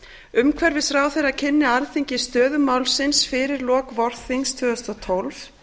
umhverfisráðherra kynni alþingi stöðu málsins fyrir lok vorþings tvö þúsund og tólf